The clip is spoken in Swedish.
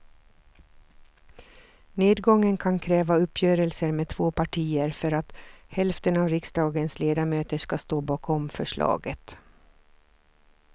Nedgången kan kräva uppgörelser med två partier för att hälften av riksdagens ledamöter ska stå bakom förslaget.